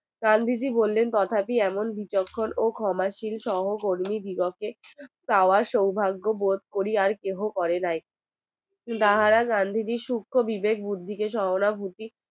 গান্ধীজি বললেন কথাটি এমন বিচক্ষণ ও ক্ষমাশীল সহ কর্মী দিগকে চাওয়ার সৌভাগ্য বোধ করি আর কেহ করে নাই তাহারা গান্ধীজির শুক্ষ বিবেক বুদ্ধিকে শরণাবুতি